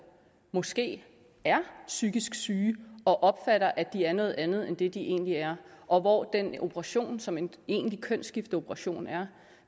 måske er psykisk syge og opfatter at de er noget andet end det de egentlig er og hvor den operation som en egentlig kønsskifteoperation er